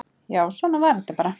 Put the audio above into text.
Já, svona var þetta bara.